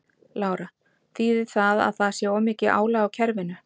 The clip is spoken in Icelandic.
Lára: Þýðir það að það sé of mikið álag á kerfinu?